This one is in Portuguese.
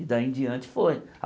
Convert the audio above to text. E daí em diante foi.